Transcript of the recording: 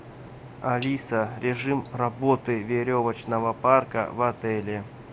алиса режим работы веревочного парка в отеле